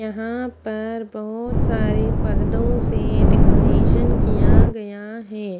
यहाँ पप्र बहुत सारे पर्दों से डेकोरेशन किया गया है।